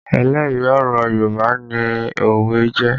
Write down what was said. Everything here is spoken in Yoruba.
Ẹlẹ́rìí ọ̀rọ̀ Yorùbá ni òwe jẹ́